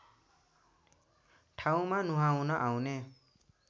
ठाउँमा नुहाउन आउने